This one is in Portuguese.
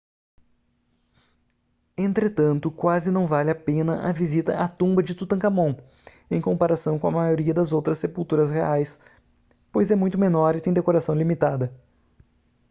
entretanto quase não vale a pena a visita à tumba de tutancâmon em comparação com a maioria das outras sepulturas reais pois é muito menor e tem decoração limitada